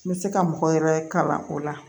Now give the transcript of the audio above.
N bɛ se ka mɔgɔ yɛrɛ kalan o la